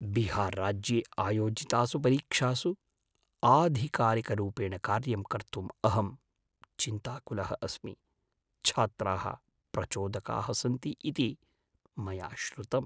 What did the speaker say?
बिहार् राज्ये आयोजितासु परीक्षासु आधिकारिकरूपेण कार्यं कर्तुम् अहं चिन्ताकुलः अस्मि। छात्राः प्रचोदकाः सन्ति इति मया श्रुतम्